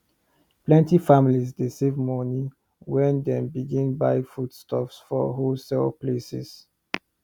plenty families dey save better money when dem begin buy foodstuff for wholesale places